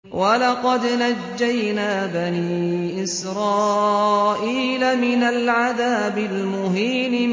وَلَقَدْ نَجَّيْنَا بَنِي إِسْرَائِيلَ مِنَ الْعَذَابِ الْمُهِينِ